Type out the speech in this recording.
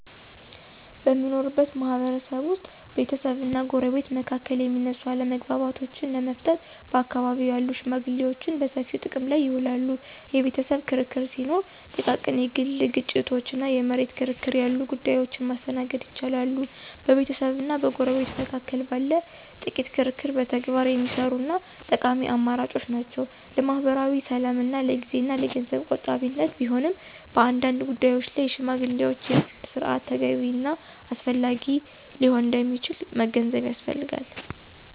በምንኖርበት ማህበረሰብ ውስጥ ቤተሰብና ጎረቤት መካከል የሚነሱ አለመግባባቶችን ለመፍታት በአካባቢው ያሉ ሽመግሌዎችን በሰፊው ጥቅም ላይ ይውላሉ። የቤተሰብ ክርክር ሲኖር፣ ጥቃቅን የግል ግጭቶች እና የመሬት ክርክር ያሉ ጉዳዮችን ማስተናገድ ይችላሉ። በቤተሰብና በጎረቤት መካከል ባለ ጥቂት ክርክር በተግባር የሚሰሩ እና ጠቃሚ አማራጮች ናቸው። ለማኅበራዊ ሰላምና ለጊዜ እና ለገንዘብ ቆጣቢነት ቢሆንም፣ በአንዳንድ ጉዳዮች ላይ የሽማግሌዎች የፍርድ ሥርዓት ተገቢ እና አስፈላጊ ሊሆን እንደሚችል መገንዘብ ያስፈልጋል።